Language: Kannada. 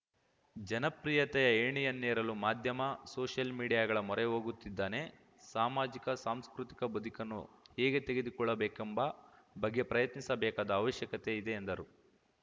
ಜನಪ್ರಿಯತೆಯ ಏಣಿಯನ್ನೇರಲು ಮಾಧ್ಯಮ ಸೋಷಿಯಲ್‌ ಮೀಡಿಯಾಗಳ ಮೊರೆ ಹೋಗುತ್ತಿದ್ದಾನೆ ಸಾಮಾಜಿಕ ಸಾಂಸ್ಕೃತಿಕ ಬದುಕನ್ನು ಹೇಗೆ ತೆರೆದುಕೊಳ್ಳಬೇಕೆಂಬ ಬಗ್ಗೆ ಪ್ರಯತ್ನಿಸಬೇಕಾದ ಅವಶ್ಯಕತೆ ಇದೆ ಎಂದರು